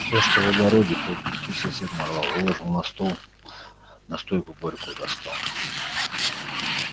всё что в огороде по пути сосед нарвал выложил на стол настойку горькую достал